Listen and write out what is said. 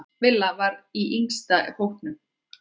Villa var í yngsta hópnum.